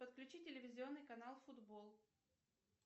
подключи телевизионный канал футбол